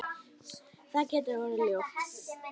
Það getur orðið ljótt.